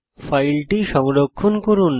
file সংরক্ষণ করুন